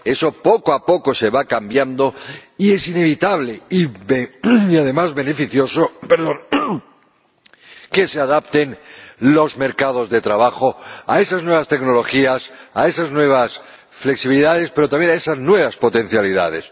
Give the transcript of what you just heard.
Eso poco a poco va cambiando y es inevitable y, además, beneficioso que se adapten los mercados de trabajo a esas nuevas tecnologías, a esas nuevas flexibilidades, pero también a esas nuevas potencialidades.